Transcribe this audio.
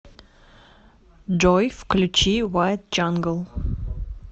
джой включи уайт джангл